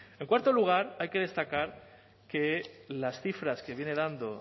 en cuarto lugar hay que destacar que las cifras que viene dando